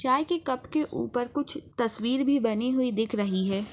चाय के कप के ऊपर कुछ तस्वीर भी बनी हुई दिख रही है।